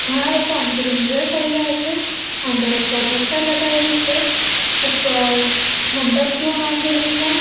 ઘણા લોકો જોયા કરી રહ્યા છે અંદર એક પ્રોજેક્ટર લગાઇલુ છે ઉપર મંડપ જેવો બાંધેલુ છે.